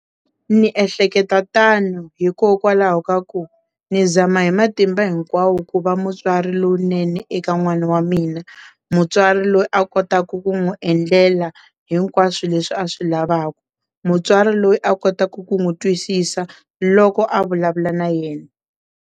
Ni ehleketa tano hikokwalaho ka ku ni zama hi matimba hinkwawo ku va mutswari lowunene eka n'wana wa mina mutswari loyi a kotaka ku n'wi endlela hinkwaswo leswi a swi lavaka mutswari loyi a kotaka ku n'wi twisisa loko a vulavula na yena.